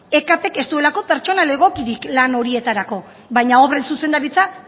ekp k ez duelako pertsonal egokirik lan horietarako baina obren zuzendaritza